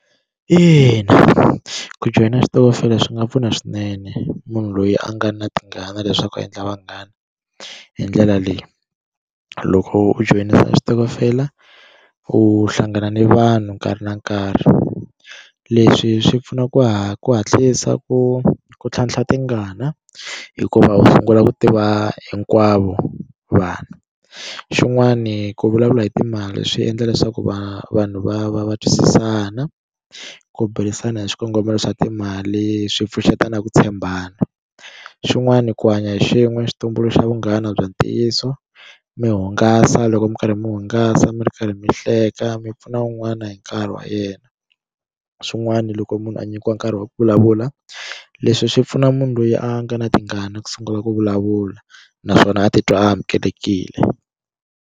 Ina, ku joyina switokofela swi nga pfuna swinene munhu loyi a nga na tingana leswaku a endla vanghana hi ndlela leyi loko u joyina switokofela u hlangana ni vanhu nkarhi na nkarhi leswi swi pfuna ku ha ku hatlisa ku ku tlhantlha tingana hikuva u sungula ku tiva hinkwavo vanhu xin'wani ku vulavula hi timali swi endla leswaku va vanhu va va va twisisana ku burisana hi xikongomelo xa timali swi pfuxeta na ku tshembana xin'wani ku hanya hi xin'we xi tumbuluxa vunghana bya ntiyiso mi hungasa loko mi karhi mi hungasa mi ri karhi mi hleka mi pfuna un'wana hi nkarhi wa yena swin'wana loko munhu a nyikiwa nkarhi wa ku vulavula leswi swi pfuna munhu loyi a nga na tingana ku sungula ku vulavula naswona a titwa a amukelekile.